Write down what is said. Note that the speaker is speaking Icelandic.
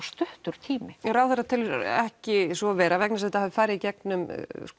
stuttur tími en ráðherra telur ekki svo vera vegna þess að þetta hefur farið í gegnum